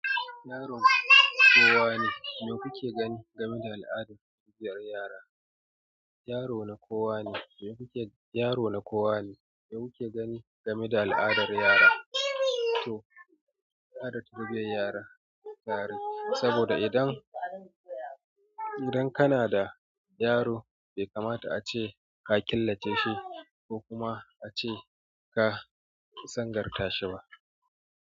Yaro na kowa ne, me kuke gani game da al'adar tarbiyar yara? Yaro na kowa ne, me kuke gani game da al'adar yara? Saboda idan kana da yaro be kamata ace ka killace shi ko kuma ace ka sangar tashi ba.